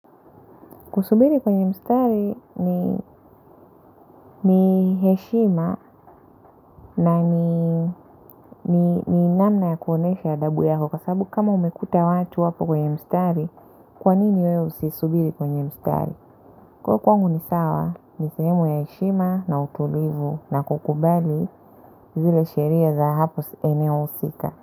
Kusubiri kwenye mstari ni heshima na ni namna ya kuonesha adhabu yako kwa sababu kama umekuta watu hapo kwenye mstari, kwanini wewe usisubiri kwenye mstari? Kwa hivyo kwangu ni sawa, ni sehemu ya heshima na utulivu na kukubali zile sheria za hapa eneo husika.